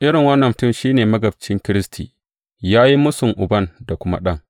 Irin wannan mutum shi ne magabcin Kiristi, ya yi mūsun Uban da kuma Ɗan.